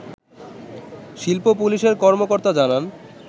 শিল্প পুলিশের কর্মকর্তা জানান